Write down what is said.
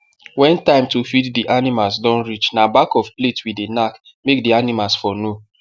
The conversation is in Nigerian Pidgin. wen time to feed the animals don reach na back of plate we dey nak make the animals for know